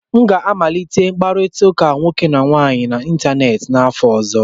M ga-amalite mkpakọrịta nwoke na nwaanyị n'ịntanetị n'afọ ọzọ.